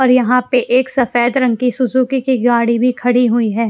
और यहां पे एक सफेद रंग की सुजुकी की गाड़ी भी खड़ी हुई है।